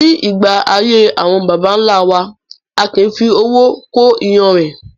Ní ìgbà ayé àwọn bàbà ńlá wa, a kì í fi owó kó iyanrìn